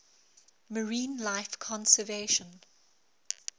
marine life conservation